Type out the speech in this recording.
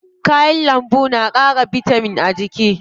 Kayan lambu na ƙara bitamin a jikin mutu.